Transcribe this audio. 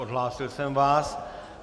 Odhlásil jsem vás.